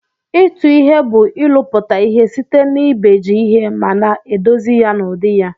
Itụ ihe bu ilụputa ihe site na ibeji ihe mana edozi ya n'udi ya.